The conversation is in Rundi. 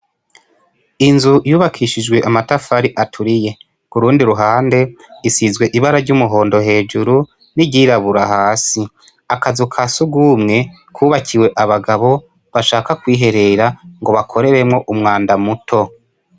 I gorofa igize ishure yubakishijwe amatafari ahiye amadirisha n'ibice bimwe bisize irangi ryera umunyezamu yicaye ku muryango w'imbere hari ikibuga, kandi kitari gito abanyenshure cure bakiniramwo.